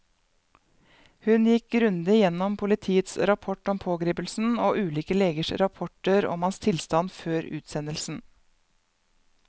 Hun gikk grundig gjennom politiets rapport om pågripelsen og ulike legers rapporter om hans tilstand før utsendelsen.